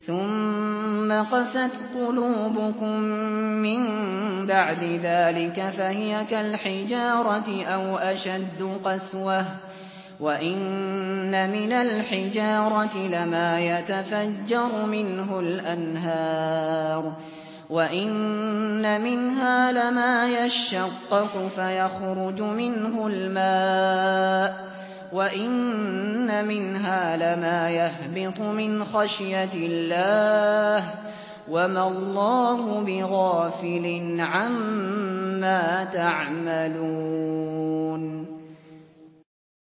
ثُمَّ قَسَتْ قُلُوبُكُم مِّن بَعْدِ ذَٰلِكَ فَهِيَ كَالْحِجَارَةِ أَوْ أَشَدُّ قَسْوَةً ۚ وَإِنَّ مِنَ الْحِجَارَةِ لَمَا يَتَفَجَّرُ مِنْهُ الْأَنْهَارُ ۚ وَإِنَّ مِنْهَا لَمَا يَشَّقَّقُ فَيَخْرُجُ مِنْهُ الْمَاءُ ۚ وَإِنَّ مِنْهَا لَمَا يَهْبِطُ مِنْ خَشْيَةِ اللَّهِ ۗ وَمَا اللَّهُ بِغَافِلٍ عَمَّا تَعْمَلُونَ